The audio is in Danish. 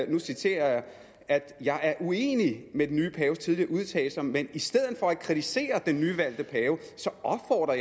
og nu citerer jeg at jeg er uenig i den nye paves tidligere udtalelser men at jeg i stedet for at kritisere den nyvalgte pave opfordrer